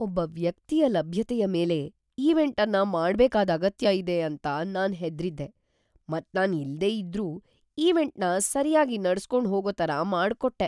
ಒಬ್ಬ ವ್ಯಕ್ತಿಯ ಲಭ್ಯತೆಯ ಮೇಲೆ ಈವೆಂಟ್ ಅನ್ನ ಮಾಡ್ಬೇಕಾದ ಅಗತ್ಯ ಇದೆ ಅಂತ ನಾನ್ ಹೆದ್ರಿದೆ ಮತ್ ನಾನ್ ಇಲ್ದೆ ಇದ್ರೂ ಈವೆಂಟ್ನ ಸರ್ಯಾಗಿ ನಡ್ಸ್ಕೊಂಡ್ ಹೋಗೋ ತರ ಮಾಡ್ಕೊಟ್ಟೆ.